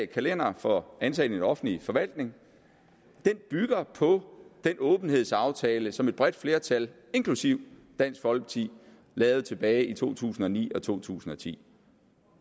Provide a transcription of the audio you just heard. kalendere for ansatte i den offentlige forvaltning bygger på den åbenhedsaftale som et bredt flertal inklusive dansk folkeparti lavede tilbage i to tusind og ni og to tusind og ti